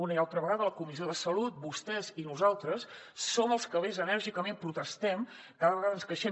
una i altra vegada a la comissió de salut vostès i nosaltres som els que més enèrgicament protestem cada vegada ens queixem